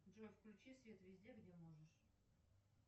джой включи свет везде где можешь